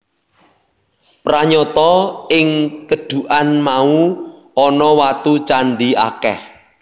Pranyata ing kedhukan mau ana watu candhi akèh